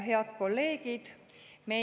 Head kolleegid!